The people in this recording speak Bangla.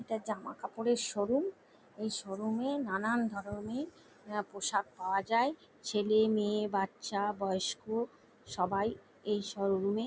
এটা জামা কাপড়ের শোরুম এই শোরুম -এ নানান ধরণের আহ পোশাক পাওয়া যায় ছেলে মেয়ে বাচ্চা বয়স্ক সবাই এই শোরুম -এ--